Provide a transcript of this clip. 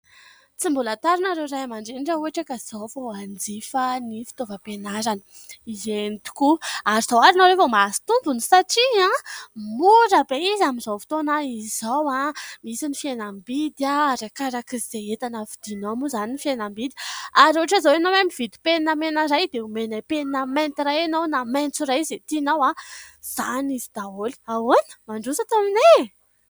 Tsy mbola tara ianareo ray aman-dreny raha ohatra ka izao vao hanjifa ny fitaovam-pianarana. Eny tokoa, ary zao ary nareo vao mahazo tombony satria mora be izy amin'izao fotoana izao. Misy ny fihenam-bidy, arakaraka izay entana vidinao moa izany ny fihenam-bidy. Ary ohatra izao ianao mividy penina mena iray dia omena penina mainty iray ianao na maitso iray izay tinao. Izany izy daholo. Ahoana ? Mandroso ato aminay e !